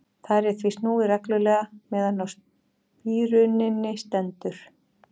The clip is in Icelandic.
Þar er því snúið reglulega meðan á spíruninni stendur.